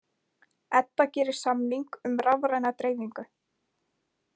Edda gerir samning um rafræna dreifingu